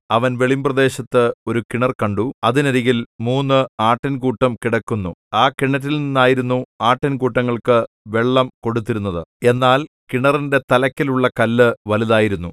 അവൻ വെളിമ്പ്രദേശത്ത് ഒരു കിണർ കണ്ടു അതിനരികിൽ മൂന്ന് ആട്ടിൻകൂട്ടം കിടക്കുന്നു ആ കിണറ്റിൽനിന്നായിരുന്നു ആട്ടിൻകൂട്ടങ്ങൾക്ക് വെള്ളം കൊടുത്തിരുന്നത് എന്നാൽ കിണറിന്റെ തലക്കലുള്ള കല്ല് വലുതായിരുന്നു